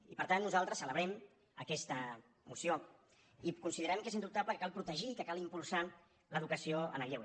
i per tant nosaltres celebrem aquesta moció i considerem que és indubtable que cal protegir i que cal impulsar l’educació en el lleure